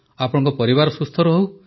ଆପଣଙ୍କ ପରିବାର ସୁସ୍ଥ ରହନ୍ତୁ